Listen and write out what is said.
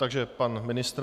Takže pan ministr.